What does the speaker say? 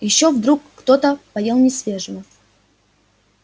ещё вдруг кто-то поел несвежего